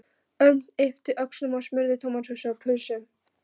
Örn yppti öxlum og smurði tómatsósu á pylsu.